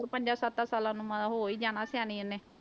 ਪੰਜਾ ਸੱਤਾ ਸਾਲਾਂ ਨੂੰ ਮ ਹੋ ਹੀ ਜਾਣਾ ਸਿਆਣੀ ਇਹਨੇ।